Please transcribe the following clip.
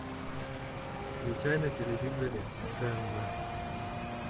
включай на телевизоре тнв